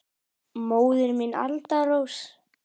Móðir mín, Alda Rós.